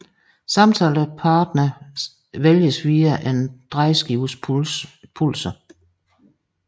Samtalepartneren vælges via en drejeskives pulser